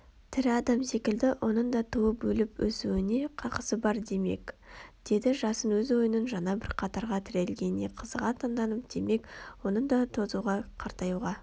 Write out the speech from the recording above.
тірі адам секілді оның да туылып өліп-өсуіне қақысы бар демек деді жасын өз ойының жаңа бір қатарға тірелгеніне қызыға таңданып демек оның да тозуға картаюға